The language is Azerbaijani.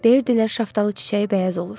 Deyirdilər şaftalı çiçəyi bəyaz olur.